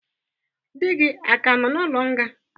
Di gi aka nọ n'ụlo nga?